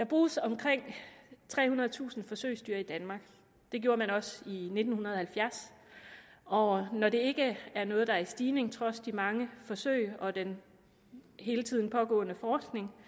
bruges omkring trehundredetusind forsøgsdyr i danmark det gjorde der også i nitten halvfjerds og når det ikke er noget der er i stigning trods de mange forsøg og den hele tiden pågående forskning